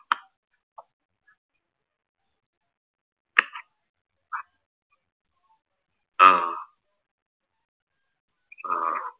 ആഹ്